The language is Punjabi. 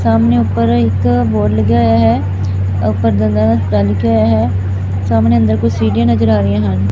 ਸਾਹਮਣੇ ਉਪਰ ਇੱਕ ਬੋਰਡ ਲੱਗਿਆ ਹੋਇਆ ਹੈ ਉਪਰ ਦੰਦਾਂ ਦਾ ਹਸਪਤਾਲ ਲਿਖਿਆ ਹੋਇਆ ਹੈ। ਸਾਹਮਣੇ ਅੰਦਰ ਕੁਝ ਸੀਡੀਆਂ ਨਜ਼ਰ ਆ ਰਹੀਆ ਹਨ।